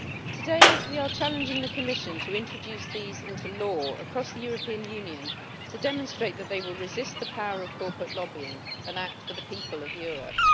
Today we are challenging the Commission to introduce these into law across the European Union to demonstrate that they will resist the power of corporate lobbying and act for the people of Europe.